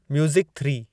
music three